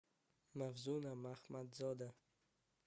мавзуна махмадзода